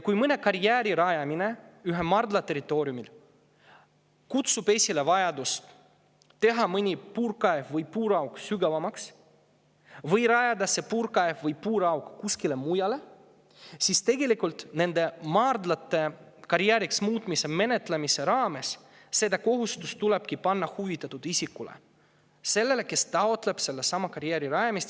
Kui mõne karjääri rajamine ühe maardla territooriumil kutsub esile vajaduse teha mõni puurkaev või puurauk sügavamaks või rajada see puurkaev või puurauk kuskile mujale, siis tegelikult nende maardlate karjääriks muutmise menetlemise raames tulebki see kohustus panna huvitatud isikule – sellele, kes taotleb sellesama karjääri rajamist.